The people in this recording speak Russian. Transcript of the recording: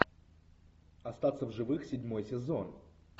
остаться в живых седьмой сезон